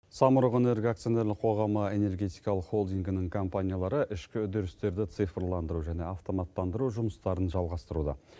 самұрық энерго акционерлік қоғамы энергетикалық холдингінің компаниялары ішкі үдерістерді цифрландыру және автоматтандыру жұмыстарын жалғастыруда